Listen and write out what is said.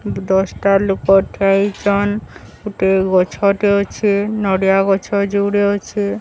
ଦଶଟା ଲୋକ ଠିଆ ହେଇଚନ୍। ଗୁଟିଏ ଗଛ ଟେ ଅଛି। ନଡ଼ିଆ ଗଛ ଯୁଡେ ଅଛି।